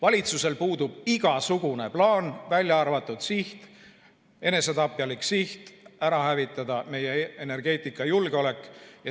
Valitsusel puudub igasugune plaan, välja arvatud enesetapjalik siht hävitada meie energeetikajulgeolek.